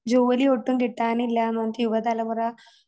ജോലിയൊട്ടും കിട്ടാനില്ലാന്നൊക്കെ യുവതലമുറ